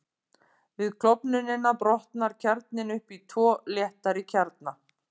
Við klofnunina brotnar kjarninn upp í tvo léttari kjarna.